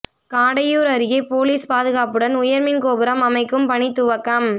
காடையூா் அருகே போலீஸ் பாதுகாப்புடன் உயா்மின் கோபுரம் அமைக்கும் பணி துவக்கம்